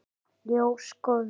Ljós góðs.